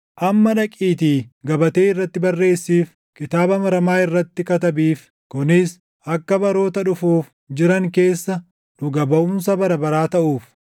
Amma dhaqiitii gabatee irratti barreessiif; kitaaba maramaa irratti katabiif; kunis akka baroota dhufuuf jiran keessa dhuga baʼumsa bara baraa taʼuuf.